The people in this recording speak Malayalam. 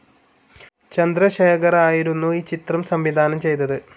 ചന്ദ്രശേഖറായിരുന്നു ഈ ചിത്രം സംവിധാനം ചെയ്തത്.